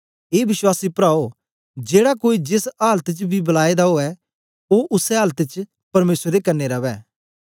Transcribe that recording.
ए विश्वासी प्राओ जेड़ा कोई जेस आलत च बी बलाए दा उवै ओ उसै आलत च परमेसर दे कन्ने रवै